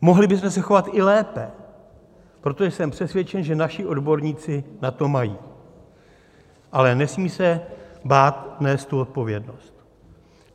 Mohli bychom se chovat i lépe, protože jsem přesvědčen, že naši odborníci na to mají, ale nesmí se bát nést tu odpovědnost.